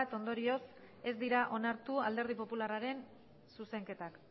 ondorioz ez dira onartu alderdi popularraren zuzenketak